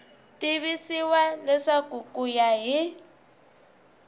tivisiwa leswaku ku ya hi